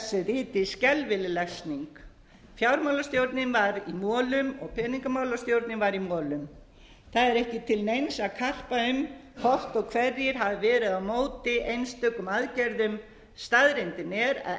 riti skelfileg lesning fjármálastjórnin var í molum og peningamálastjórnin var í molum það er ekki til neins að karpa um hvort og hverjir hafi verið á móti einstökum aðgerðum staðreyndin er að